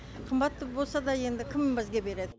қымбат болса да енді кім бізге береді